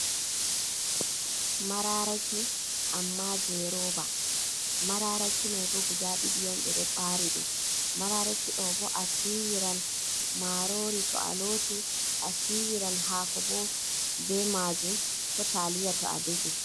Maraaraki, amma jei roba. Maraaraki mai bo guda ɗiɗi on ɓe ɗo ɓaari di. Maraaraki ɗo bo, a siwiran marori to a loti, a siwiran haako bo be majum, ko taliya to a defi.